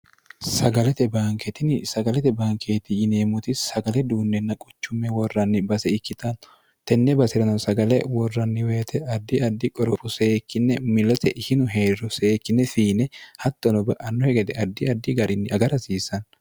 sagalete banke tini sagalete bankeeti yineemmoti sagale duunnenna quchumme worranni base ikkitanno tenne baserano sagale worranni woyite addi addi qoropho seekkinne milote ishinu heeriro seekkine fiine hattono ba'annohe gede addi addi garinni agar hasiissanno